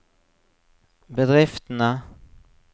bedriftene